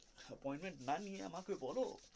appoint না নিয়ে আমাকে বলো.